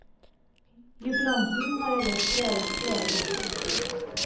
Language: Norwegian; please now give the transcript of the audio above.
Jubilanten har ellers skrevet flere bøker.